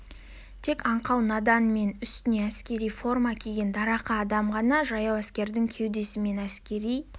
тек аңқау надан мен үстіне әскери форма киген дарақы адам ғана жаяу әскердің кеудесімен әскери